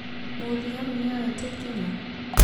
Mũthigari nĩoete ikinya?